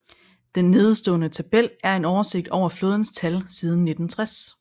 Den nedenstående tabel er en oversigt over flådens tal siden 1960